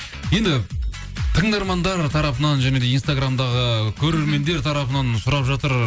енді тыңдармандар тарапынан және де инстаграмдағы көрермендер тарапынан сұрап жатыр